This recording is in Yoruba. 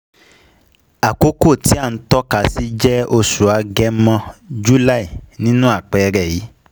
Àkókò tí à ń tọ́kasí jẹ oṣù Agẹmọ(July) nínu àpẹẹrẹ yìí